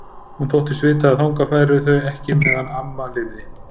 Hún þóttist vita að þangað færu þau ekki meðan amma lifði.